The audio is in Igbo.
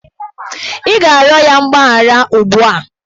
Ị ga-arịọ ya mgbaghara ugbu a!